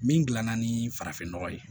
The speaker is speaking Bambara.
Min gilan na ni farafinnɔgɔ ye